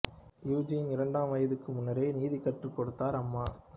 யுஜினியின் இரண்டு வயதுக்கு முன்னரே நீந்தக் கற்றுக் கொடுத்தார் அம்மா